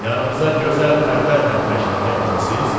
Yanımıza gözəl pərlərlə təşrif gətirmisiniz?